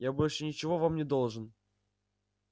я больше ничего вам не должен